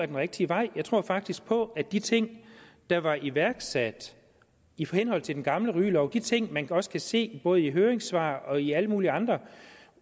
den rigtige vej jeg tror faktisk på de ting der var iværksat i henhold til den gamle rygelov de ting man også kan se både i høringssvarene og i alle mulige andre